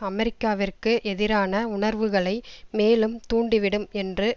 அமெரிக்காவிற்கு எதிரான உணர்வுகளை மேலும் தூண்டிவிடும் என்று